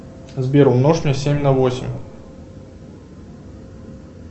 сбер умножь мне семь на восемь